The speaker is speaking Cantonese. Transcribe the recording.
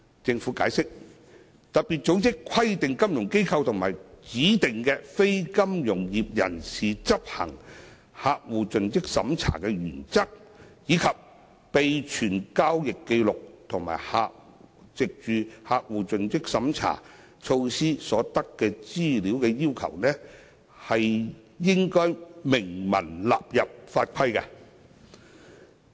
政府解釋，特別組織規定金融機構及指定非金融業人士執行客戶盡職審查的原則，以及備存交易紀錄和藉客戶盡職審查措施所得資料的要求，應明文納入法規。